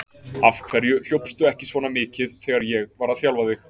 Af hverju hljópstu ekki svona mikið þegar ég var að þjálfa þig?